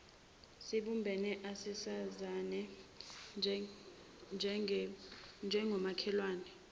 sibumbane asisizane njengomakhelwane